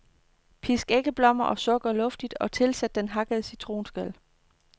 Pisk æggeblommer og sukker luftigt og tilsæt den hakkede citronskal.